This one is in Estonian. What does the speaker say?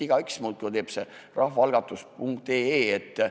Igaüks muudkui teeb rahvaalgatus.ee lehel rahvaalgatuse.